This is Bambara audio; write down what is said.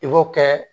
I b'o kɛ